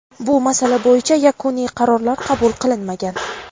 bu masala bo‘yicha yakuniy qarorlar qabul qilinmagan.